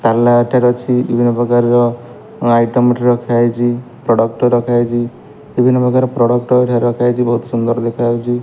ତାଲା ଏଠାରେ ଅଛି ବିଭିନ୍ନ ପ୍ରକାର ଆଇଟମ ଏଠି ରଖାହେଇଚି। ପ୍ରଡକ୍ଟ ରଖାହେଇଚି ବିଭିନ୍ନପ୍ରକାର ପ୍ରଡକ୍ଟ ହେଇକା ରଖାହେଇଚି। ବହୁତ୍ ସୁନ୍ଦର୍ ଦେଖାଯାଉଚି।